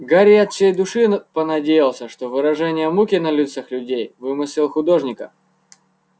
гарри от всей души понадеялся что выражение муки на лицах людей вымысел художника